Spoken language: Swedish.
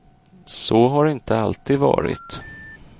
Så har det inte alltid varit.